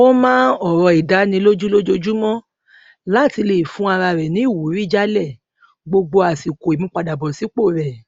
ó máa ń òrò ìdánilójú lójoojúmó láti lè fún ara rẹ ní ìwúrí jálè gbogbo àsìkò ìmúpadàbọsípò rẹ